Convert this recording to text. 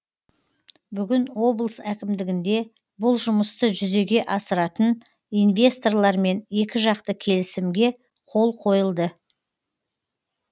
бүгін облыс әкімдігінде бұл жұмысты жүзеге асыратын инвесторлармен екіжақты келісімге қол қойылды